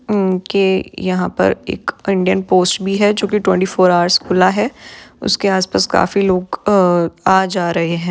उनके यहा पर एक इंडियन पोस्ट भी है जो कि ट्वेंटी फोर अवर्स खुला है उसके आस-पास काफी लोग अ आ जा रहे है ।